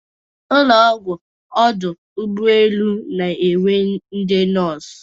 Ụnọ ọgwụ ọdụ ụgbọ elu na enwe ndị nọọsụ.